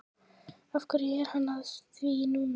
Af hverju er hann að því núna?